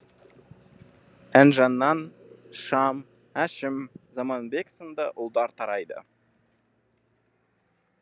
інжінан шам әшім заманбек сынды ұлдар тарайды